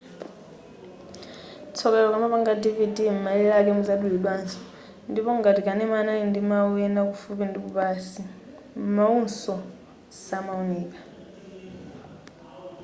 tsoka ilo ukamapanga dvd m'malire ake muzadulidwaso ndipo ngati kanema anali ndi mau ena kufupi ndikupansi mauwonso samaoneka